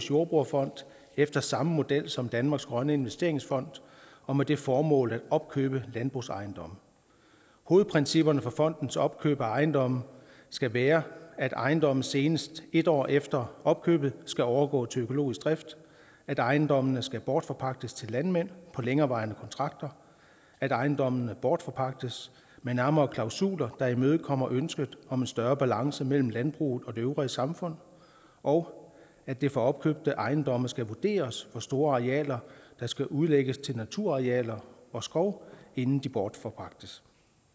jordbrugerfond efter samme model som danmarks grønne investeringsfond og med det formål at opkøbe landbrugsejendomme hovedprincipperne for fondens opkøb af ejendomme skal være at ejendommene senest en år efter opkøbet skal overgå til økologisk drift at ejendommene skal bortforpagtes til landmænd på længerevarende kontrakter at ejendommene bortforpagtes med nærmere klausuler der imødekommer ønsket om en større balance mellem landbruget og det øvrige samfund og at det for opkøbte ejendomme skal vurderes hvor store arealer der skal udlægges til naturarealer og skov inden de bortforpagtes